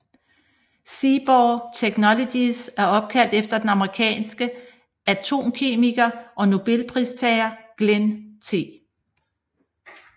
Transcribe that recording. Seaborg Technologies er opkaldt efter den amerikanske atomkemiker og nobelpristager Glenn T